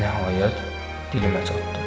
Nəhayət, dilimə çatdı.